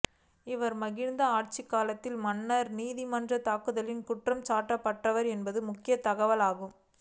இவர் மகிந்த ஆட்சி காலத்தில் மன்னார் நீதிமன்ற தாக்குதலில் குற்றம் சாட்டப்பட்டவர் என்பது முக்கிய தகவலாகும்